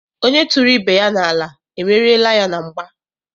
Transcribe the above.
Onye tụrụ ibe ya n'ala, emeriela ya na mgba.